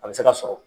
A bɛ se ka sɔrɔ